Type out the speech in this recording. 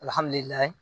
Alihamudulila